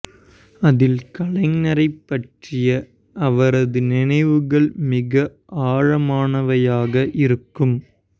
அதில் கலைஞரைப் பற்றிய அவரது நினைவுகள் மிக ஆழமானவையாக இருக்கும்